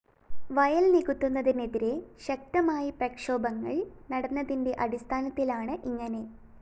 വയല്‍ നികത്തുന്നതിനെതിരെ ശക്തമായി പ്രക്ഷോഭങള്‍ നടന്നതിന്റെ അടിസ്ത്ഥാനത്തിലാണ് ഇങ്ങനെ